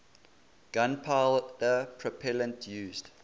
gunpowder propellant used